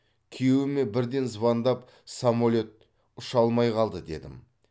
күйеуіме бірден звондап самолет ұша алмай қалды дедім